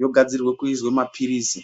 yogadzirwe kuizwe maphirizi.